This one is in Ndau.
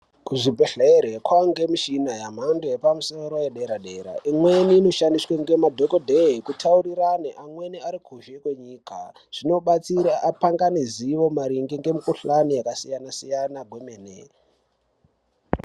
Kuzvibhedhlere kwaangemichini yemhando yepamusoro yedera-dera, imweni inoshandiswa nemadhogodheye eitaurirane amweni ari kuzhe kwenyika. Zvinobatsira apangane zivo maererano nemukuhlani yakasiyana-siyana kwemene.